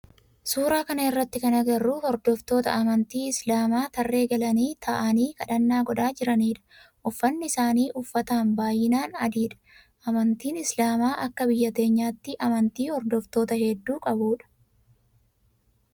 Suuraa kana irratti kan agarru hordoftoota amantii islaamaa tarree galanii ta'aanii kadhannaa godhaa jiranidha. Uffanni isaan uffatan baayyinaan adii dha. Amantiin islaamaa akka biyya teenyatti amantii hordoftoota heddu qabu dha.